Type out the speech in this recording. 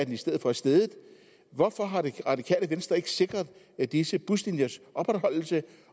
i stedet for steget hvorfor har det radikale venstre ikke sikret disse buslinjers opretholdelse